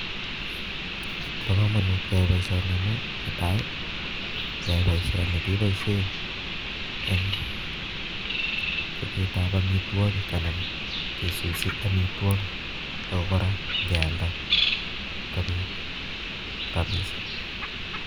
Ba komonut keyai boisioni amun netai keyai boishoni kebaishen en chabet ab amitwokik anan kesusi amitwokik ak koraa ngealda kobit rabishiek